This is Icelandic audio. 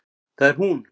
Það er hún!